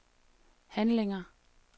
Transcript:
handlinger